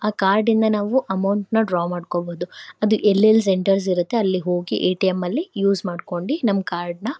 ಅ card ಇಂದ ನಾವು ಅಮೌಂಟ್ನ ಡ್ರಾ ಮಾಡ್ಕೋಬಹುದು ಅದು ಎಲ್ಲೆಲ್ ಸೆಂಟರ್ಸ್ ಇರುತ್ತೆ ಅಲ್ಲಿಗೆ ಹೋಗಿ ಎ_ಟಿ_ಎಂ ಅಲ್ಲಿ ಯೂಸ್ ಮಾಡ್ಕೊಂಡಿ ನಮ್ ಕಾರ್ಡ್ನ --